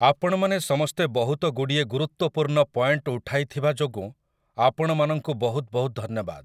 ଆପଣମାନେ ସମସ୍ତେ ବହୁତଗୁଡ଼ିଏ ଗୁରୁତ୍ୱପୂର୍ଣ୍ଣ ପଏଣ୍ଟ ଉଠାଇଥିବା ଯୋଗୁଁ ଆପଣମାନଙ୍କୁ ବହୁତ ବହୁତ ଧନ୍ୟବାଦ ।